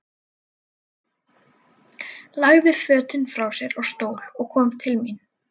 Lagði fötin frá sér á stól og kom til mín.